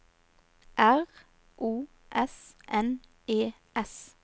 R O S N E S